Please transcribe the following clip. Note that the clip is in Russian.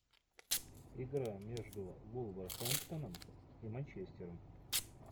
игра между вулверхэмптоном и манчестером